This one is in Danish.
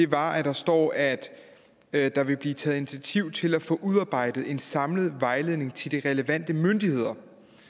var at der står at at der vil blive taget initiativ til at få udarbejdet en samlet vejledning til de relevante myndigheder